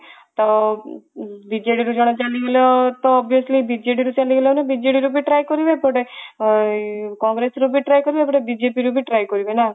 ତ ବିଜେଡ଼ିରୁ ରୁ ଜଣେ ଚାଲି ଗଲେ ତ obviously ବିଜେଡିରୁ ଚାଲି ଗଲେ ମାନେ ବିଜେଡି ରୁ try କରିବେ ଏପଟେ କଂଗ୍ରେସ ରୁ try କରିବେ ଏପଟେ ବିଜେପି ରୁ ବି try କରିବେ ନା